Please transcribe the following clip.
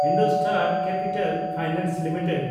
IndoStar capital finance limited